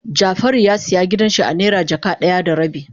Jafaru ya siya gidan shi a naira jaka daya da rabi.